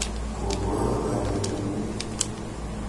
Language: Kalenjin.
Go kuron kanetindet.